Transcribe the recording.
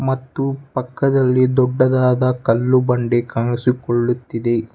ಮತ್ತು ಪಕ್ಕದಲ್ಲಿ ದೊಡ್ಡದಾದ ಕಲ್ಲು ಬಂಡೆ ಕಾಣಿಸಿಕೊಳ್ಳುತ್ತಿದೆ.